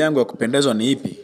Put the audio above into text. Shughuli yangu wa kupendeza ni ipi?